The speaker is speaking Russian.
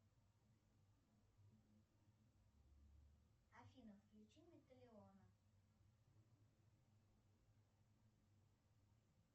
афина включи металиона